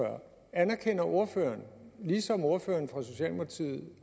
anerkender ordføreren ligesom ordføreren for socialdemokratiet